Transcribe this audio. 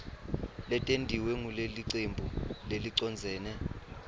letentiwe ngulelicembu lelicondzene